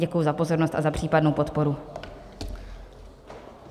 Děkuji za pozornost a za případnou podporu.